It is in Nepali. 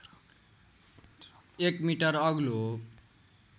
एक मिटर अग्लो